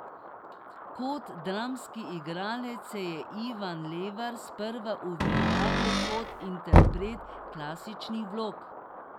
Kot dramski igralec se je Ivan Levar sprva uveljavil kot interpret klasičnih vlog.